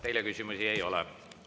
Teile küsimusi ei ole.